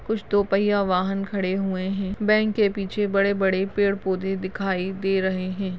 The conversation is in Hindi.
कुछ दो पहिया वाहन खड़े हुए है बैंक के पीछे बड़े बड़े पेड पौधे दिखाई दे रहे है।